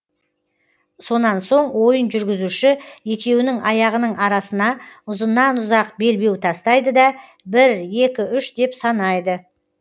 сонан соң ойын жүргізуші екеуінің аяғының арасына ұзыннан ұзақ белбеу тастайды да бір екі үш деп санайды